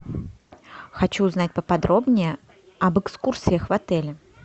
хочу узнать поподробнее об экскурсиях в отеле